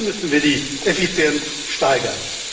Da müssen wir die Effizienz steigern.